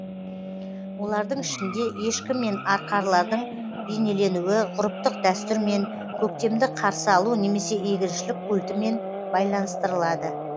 олардың ішінде ешкі мен арқарлардың бейнеленуі ғұрыптық дәстүрмен көктемді қарсы алу немесе егіншілік культімен байланыстырылады